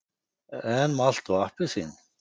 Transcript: En malt og appelsín?